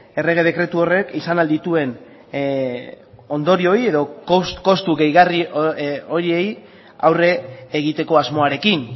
errege dekretu horrek izan al dituen ondorioei edo kostu gehigarri horiei aurre egiteko asmoarekin